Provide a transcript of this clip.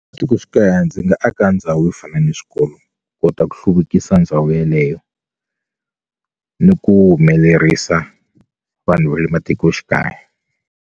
Matikoxikaya ndzi nga aka ndhawu yo fana ni swikolo kota ku hluvukisa ndhawu yeleyo ni ku humelerisa vanhu va le matikoxikaya.